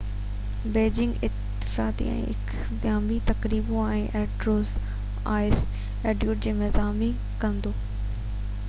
Beijing افتتاحي ۽ اختتامي تقريبون ۽ انڊور آئس ايونٽ جي ميزباني ڪندو